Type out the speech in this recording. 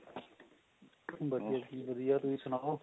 ਬਸ ਵਧੀਆ ਜੀ ਵਧੀਆ ਤੁਸੀਂ ਸੁਣਾਓ